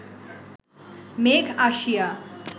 মেঘ আসিয়া